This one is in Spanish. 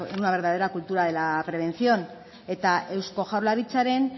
una verdadera cultura de la prevención eta eusko jaurlaritzaren